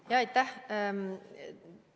Jaa, aitäh!